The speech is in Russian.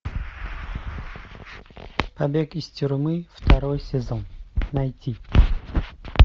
побег из тюрьмы второй сезон найти